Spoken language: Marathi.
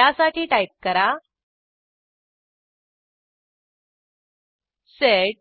त्यासाठी टाईप करा सेड